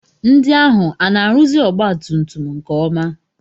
Ndị ahụ ana-arụzi ọgbatumtum nke ọma?